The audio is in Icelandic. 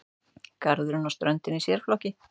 Garðurinn og ströndin í sérflokki.